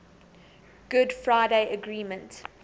good friday agreement